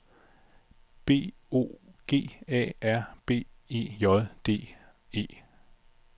B O G A R B E J D E